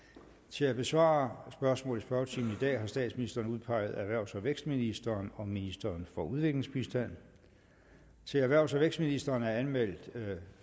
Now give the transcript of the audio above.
til at besvare spørgsmål i spørgetimen i dag har statsministeren udpeget erhvervs og vækstministeren og ministeren for udviklingsbistand til erhvervs og vækstministeren er anmeldt